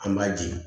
An b'a di